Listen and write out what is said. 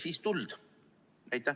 Aitäh!